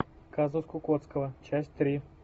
казус кукоцкого часть три